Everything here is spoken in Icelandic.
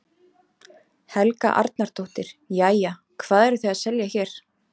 Helga Arnardóttir: Jæja, hvað eruð þið að selja hér?